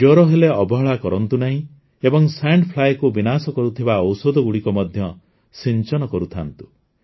ଜ୍ୱର ହେଲେ ଅବହେଳା କରନ୍ତୁ ନାହିଁ ଏବଂ ସାଣ୍ଡ Flyକୁ ବିନାଶ କରୁଥିବା ଔଷଧଗୁଡ଼ିକ ମଧ୍ୟ ସିଞ୍ଚନ କରୁଥାନ୍ତୁ